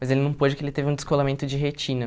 Mas ele não pôde porque ele teve um descolamento de retina.